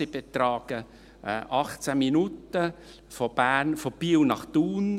Sie betragen 18 Minuten von Biel nach Thun;